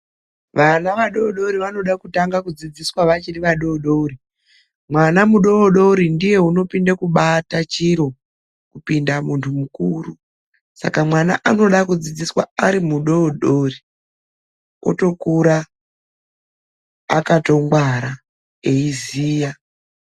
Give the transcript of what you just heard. Vana vadodori vanoda kutanga kudzidziswa vachiri vadodori. Mwana mudodori ndiye unopinde kubata chiro kupinda muntu mukuru, saka mwana anoda kudzidziswa ari mudodori otokura akatongwara eiziya.